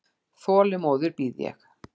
Þolinmóð bíð ég.